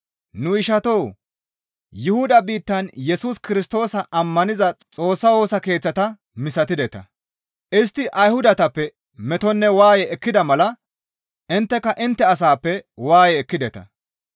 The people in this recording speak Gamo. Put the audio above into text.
Nu ishatoo! Yuhuda biittan Yesus Kirstoosa ammaniza Xoossa Woosa Keeththata misatideta; istti Ayhudatappe metonne waaye ekkida mala intteka intte asaappe waaye ekkideta.